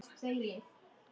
Lilla var komin.